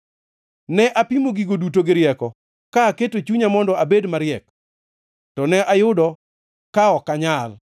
Ne apimo gigo duto gi rieko ka aketo chunya mondo abed mariek, to ne ayudo ka ok anyal.